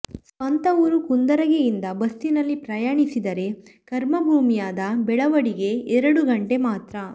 ಸ್ವಂತ ಊರು ಕುಂದರಗಿ ಇಂದ ಬಸ್ಸಿನಲ್ಲಿ ಪಯಣಿಸಿದರೆ ಕರ್ಮಭೂಮಿಯಾದ ಬೆಳವಡಿಗೆ ಎರಡು ಘಂಟೆ ಮಾತ್ರ